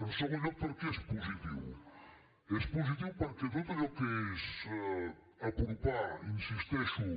en segon lloc per què és positiu és positiu perquè tot allò que és apropar hi insisteixo